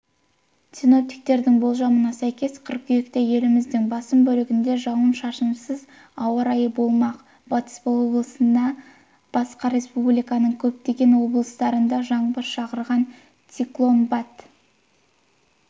синоптиктердің болжамына сәйкес қыркүйекте еліміздің басым бөлігінде жауын-шашынсыз ауа райы болмақ батыс облысынан басқа республиканың көптеген облыстарында жаңбыр шақырған циклон батыс